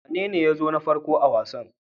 Wanene ya zo na farko a wasan?